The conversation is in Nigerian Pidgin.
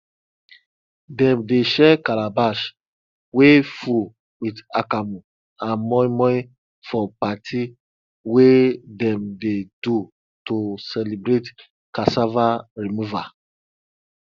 dem dey share calabash wey full with akamu and moimoi for party wey dem dey do to celebrate cassava removal